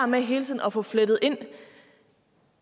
med hele tiden at få flettet ind